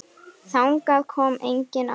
Þangað kom enginn áður.